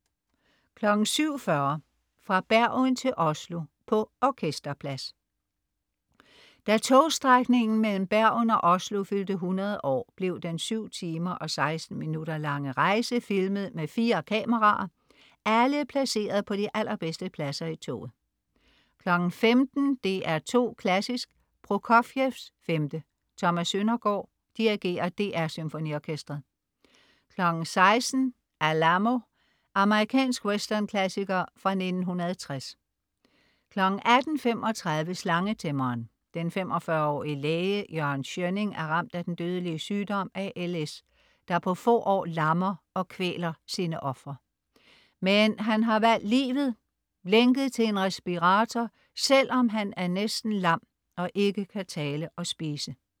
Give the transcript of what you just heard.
07.40 Fra Bergen til Oslo, på orkesterplads. Da togstrækningen mellem Bergen og Oslo fyldte hundrede år, blev den syv timer og 16 minutter lange rejse filmet med fire kameraer, alle placeret på de allerbedste pladser i toget 15.00 DR2 Klassisk: Prokofievs 5. Thomas Søndergaard, dirigerer DR SymfoniOrkestret 16.00 Alamo. Amerikansk westernklassiker fra 1960 18.35 Slangetæmmeren. Den 45-årige læge Jørgen Schiønning er ramt af den dødelige sygdom ALS, der på få år lammer og kvæler sine ofre. Men han har valgt livet, lænket til en respirator, selvom han er næsten lam og ikke kan tale og spise